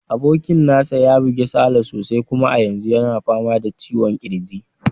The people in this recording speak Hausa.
Abokin nasa ya buge Sale sosai, kuma a yanzu yana fama da ciwon kirji.